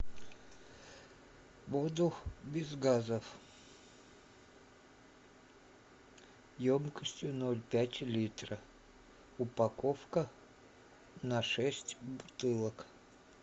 воду без газов емкостью ноль пять литра упаковка на шесть бутылок